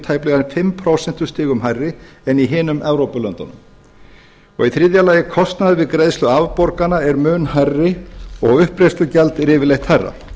tæplega fimm prósentustigum hærri en í hinum evrópulöndunum í þriðja lagi kostnaður við greiðslu afborgana er mun hærri og uppgreiðslugjald er yfirleitt hærra